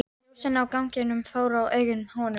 Skálinn var einn geimur og allur þiljaður innan með panel.